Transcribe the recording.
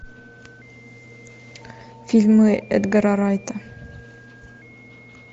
фильмы эдгара райта